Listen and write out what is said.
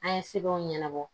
An ye sɛbɛnw ɲɛnabɔ